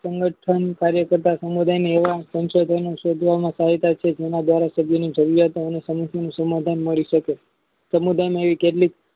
સંગઠન કાર્ય કાર્ય કરતા સમુદાય સંશોધન શોધવામાં જયારે સભ્યની જરૂરિયાતો અને સમાધાન મળી શકે સમુદાયની કેટલીક